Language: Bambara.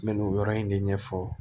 N bɛ nin yɔrɔ in de ɲɛfɔ